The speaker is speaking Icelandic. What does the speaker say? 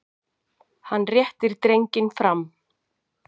Hann réttir drenginn fram.